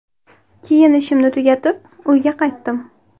Keyin ishimni tugatib, uyga qaytdim.